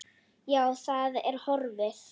Já, það er horfið.